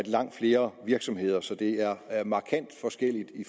langt flere virksomheder så det er markant forskelligt i